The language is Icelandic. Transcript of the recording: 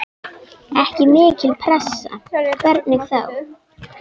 Ekki mikil pressa, hvernig þá?